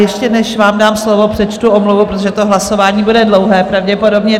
Ještě, než vám dám slovo, přečtu omluvu, protože to hlasování bude dlouhé, pravděpodobně.